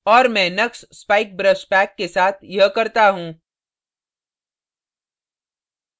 और मैं knux spike brush pack के साथ यह करता हूँ